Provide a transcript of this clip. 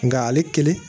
Nka ale kelen